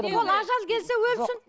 ол ажал келсе өлсін